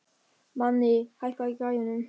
Manni, hækkaðu í græjunum.